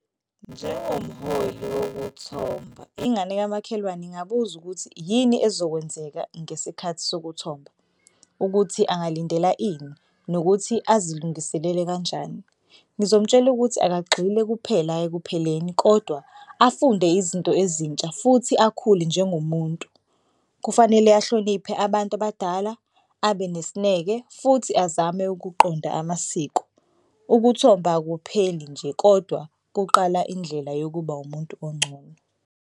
Njengomholi wokuthomba ingane kamakhelwane ingabuza ukuthi yini ezokwenzeka ngesikhathi sokuthomba, ukuthi angalindela ini nokuthi azilungiselele kanjani. Ngizomtshela ukuthi akagxile kuphela ekupheleni kodwa afunde izinto ezintsha futhi akhule njengomuntu. Kufanele ahloniphe abantu abadala abe nesineke futhi azame ukuqonda amasiko. Ukuthomba akupheli nje kodwa kuqala indlela yokuba umuntu ongcono.